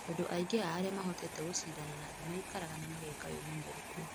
tondũ aingĩ a arĩa mahotete gũcindana na thĩ maikaraga na mageka wĩmenyeru kuo.